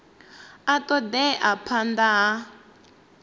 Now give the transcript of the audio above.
a ṱo ḓea phanḓa ha